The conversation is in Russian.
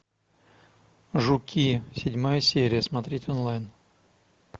жуки седьмая серия смотреть онлайн